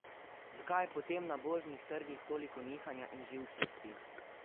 Zakaj je potem na borznih trgih toliko nihanja in živčnosti?